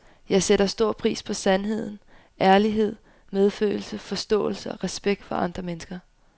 Jeg sætter stor pris på sandhed, ærlighed, medfølelse, forståelse og respekt for andre mennesker.